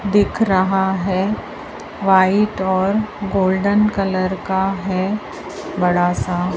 दिख रहा हैं व्हाइट और गोल्डन कलर का हैं बड़ासा--